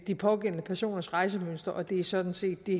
de pågældende personers rejsemønstre og det er sådan set det